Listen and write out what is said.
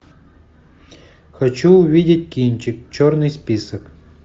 хочу увидеть кинчик черный список